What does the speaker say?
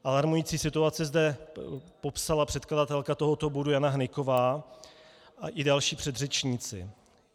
Alarmující situaci zde popsala předkladatelka tohoto bodu Jana Hnyková a i další předřečníci.